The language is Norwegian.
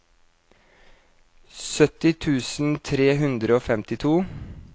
sytti tusen tre hundre og femtito